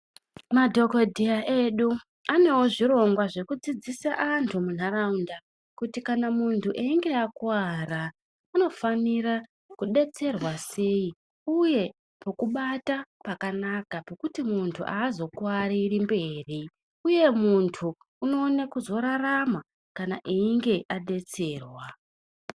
Madhokodheya edu, anewo zvirongwa zvekudzidzisa anthu munharaunda, kuti kana munthu einge akuwara, unofanira kudetserwa sei ,uye pokubata pakanaka pokuti munthu aazokuwariri mberi, uye kuti munthu unoone kuzorarama kana einge adetserwa.